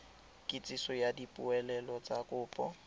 kitsiso ya dipoelo tsa kopo